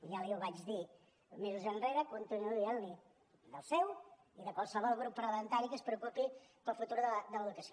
ja li ho vaig dir mesos enrere continuo dient li ho del seu i de qualsevol grup parlamentari que es preocupi pel futur de l’educació